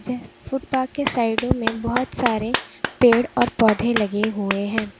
इस फुटपाथ के साइडों में बहुत सारे पेड़ और पौधे लगे हुए हैं।